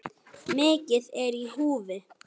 Mikið er í húfi.